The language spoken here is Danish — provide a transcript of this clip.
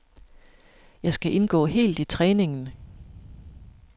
Jeg skal indgå helt i træningen.